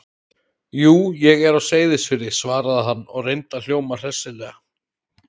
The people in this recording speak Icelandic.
Jú, ég er á Seyðisfirði- svaraði hann og reyndi að hljóma hressilega.